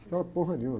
Estéril é porra nenhuma.